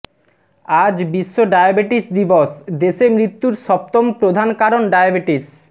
আজ বিশ্ব ডায়াবেটিস দিবস দেশে মৃত্যুর সপ্তম প্রধান কারণ ডায়াবেটিস